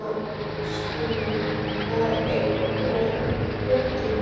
Kristvina, hvar er dótið mitt?